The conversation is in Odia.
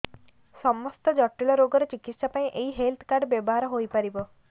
ସମସ୍ତ ଜଟିଳ ରୋଗର ଚିକିତ୍ସା ପାଇଁ ଏହି ହେଲ୍ଥ କାର୍ଡ ବ୍ୟବହାର ହୋଇପାରିବ